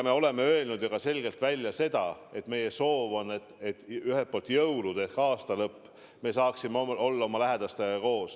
Me oleme ju selgelt välja öelnud, et meie soov on ühelt poolt see, et me jõulud ja aastalõpu saaksime olla oma lähedastega koos.